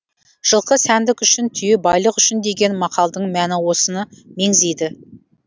жылқы сәндік үшін түйе байлық үшін деген мақалдың мәні осыны меңзейді